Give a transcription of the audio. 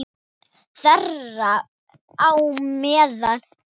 Þeirra á meðal eru